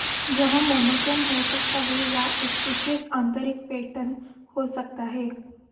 यह मोनोक्रोम हो सकता है या एक विशेष आंतरिक पैटर्न हो सकता है